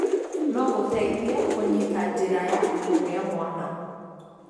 no gũteithie kũnyĩta njĩra ya kũgia mwana.